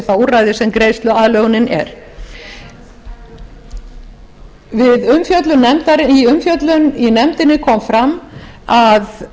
það úrræði sem greiðsluaðlögunin er í umfjöllun í nefndinni kom fram að það